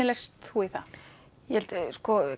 leist þú í það ég held sko